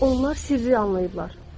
Yəqin onlar sirri anlayıblar.